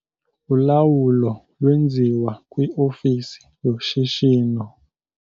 Ulawulo lwenziwa kwiofisi yoshishino.